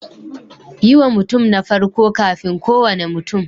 Yi wa mutum na farko kafin kowane mutum.